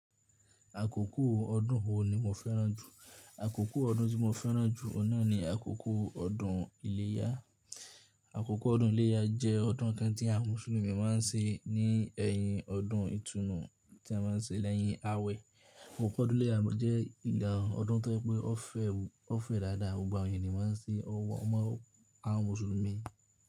Àkókò ọdún wo ni mo fẹ́ràn jù? Akoko odun ti mo feran ju, o na ni akoko odun ileya. Akoko odun ileya je odun kan ti awon musulumi maa n se ni eyin odun itunu, ti a maa n se leyin awe. Àkókò ọdún iléyá jẹ́ ìga ọdún tó pé ó fẹ́, ó fẹ́ dáadáa gba ọ̀yìn ni màá n ṣe ọwọ́ mọ́ àwọn musulumi.